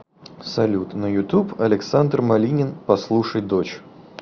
салют на ютуб александр малинин послушай дочь